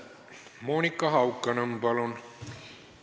Monika Haukanõmm, palun!